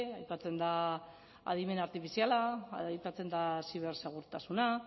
aipatzen da adimen artifiziala aipatzen da zibersegurtasuna